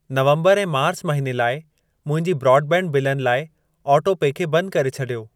नवंबर ऐं मार्च महिने लाइ मुंहिंजी ब्रॉडबैंड बिलनि लाइ ऑटोपे खे बंद करे छॾियो।